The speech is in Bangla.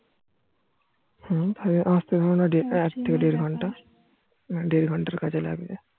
হম ওই আস্তে বোধহয় এক থেকে দেড় ঘন্টা দেড় ঘন্টার কাছে লাগবে